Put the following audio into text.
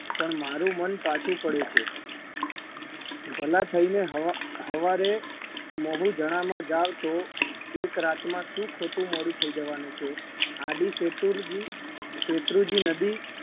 પણ મારુ મન પાછું પડે છે. ભલા થઈને હવા હવારે મહુજણામાં જાઓ તો એક રાતમાં શું ખોટું મોળું થઈ જવાનું છે આડી શેતુરજી શેત્રુજી નદી